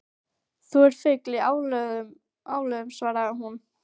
Þú ert fugl í álögum svaraði hún.